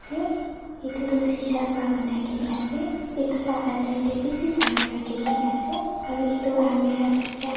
se itutu sisha pra banaigena ase itula ander dey bisai saman rakhigena ase aro itu almirah tu char--